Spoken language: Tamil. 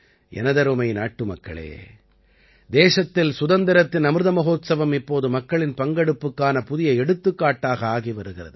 எனதருமை நாட்டுமக்களே தேசத்தில் சுதந்திரத்தின் அமிர்த மஹோத்சவம் இப்போது மக்களின் பங்கெடுப்புக்கான புதிய எடுத்துக்காட்டாக ஆகி வருகிறது